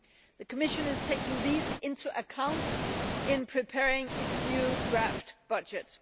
The Commission is taking these into account in preparing its new draft budget.